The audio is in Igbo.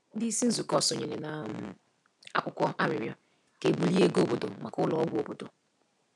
Ndị isi nzụkọ sonyere na um akwụkwọ arịrịọ ka e bulie ego obodo maka ụlọ ọgwụ obodo.